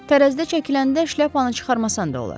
Tərəzidə çəkiləndə şləpanı çıxarmasan da olar.